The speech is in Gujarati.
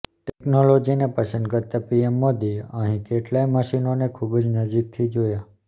ટેકનોલીજીને પસંદ કરતાં પીએમ મોદીએ અહીં કેટલાંય મશીનોને ખૂબ જ નજીકથી જોયા